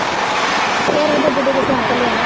ਤੇਰਾ ਡੁਗ ਡੁਗ ਸੱਦ ਲਿਆ